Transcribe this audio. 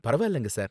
பரவாயில்லங்க சார்